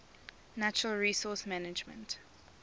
natural resource management